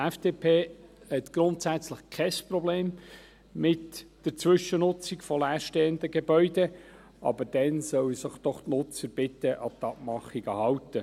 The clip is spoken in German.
Die FDP hat grundsätzlich kein Problem mit der Zwischennutzung von leerstehenden Gebäuden, aber dann sollen sich doch die Nutzer bitte an die Abmachungen halten.